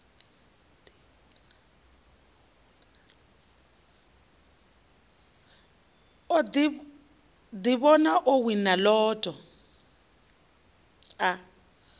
ḓivhona o wina lotto a